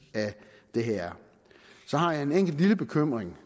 af det her er så har jeg en enkelt lille bekymring